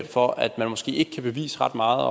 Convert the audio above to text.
for at man måske ikke kan bevise ret meget